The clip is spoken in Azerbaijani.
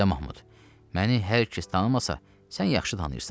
Mirzə Mahmud, məni hər kəs tanımasa, sən yaxşı tanıyırsan.